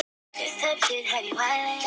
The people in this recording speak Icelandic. Það var ekki bara hún.